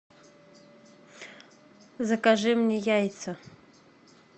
закажи мне яйца